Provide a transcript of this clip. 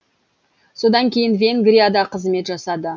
содан кейін венгрияда қызмет жасады